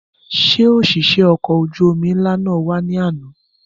Ṣé òṣìṣẹ́ ọkọ̀ ojú omi ńlá náà wá ní àná?